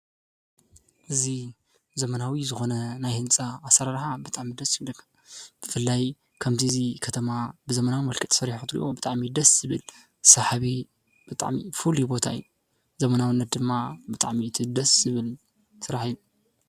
እዚ ዘመናዊ ዝኾነ ናይ ህንፃ ኣሰራርሓ ብጣዕሚ ደስ ይብል። ብፍላይ ከምዚ ከተማ ብዘመናዊ መልክዕ ተሰሪሑ ክትርእዮ ብጣዕሚ እዩ ደስ ዝብል ሰሓቢ ብጣዕሚ ፍሉይ ቦታ እዩ። ዘመናዊነት ድማ ብጣዕሚ እቲ ደስ ዝብል ስራሕ እዩ።